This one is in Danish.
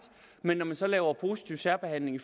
men når man så laver positiv særbehandling